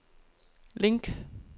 link